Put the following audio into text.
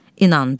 İnandım.